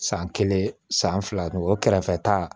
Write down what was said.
San kelen san fila n kɛrɛfɛ ta